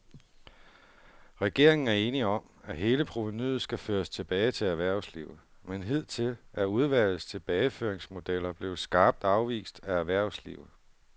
Regeringen er enig om, at hele provenuet skal føres tilbage til erhvervslivet, men hidtil er udvalgets tilbageføringsmodeller blevet skarpt afvist af erhvervslivet.